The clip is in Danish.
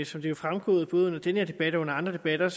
som det er fremgået både under denne og andre debatter